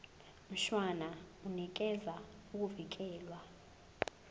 mshwana unikeza ukuvikelwa